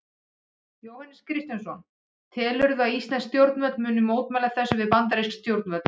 Jóhannes Kristjánsson: Telurðu að íslensk stjórnvöld muni mótmæla þessu við bandarísk stjórnvöld?